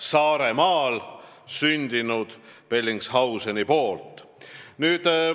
Teatavasti tegi esimese ekspeditsiooni sinna Saaremaal sündinud Bellingshausen.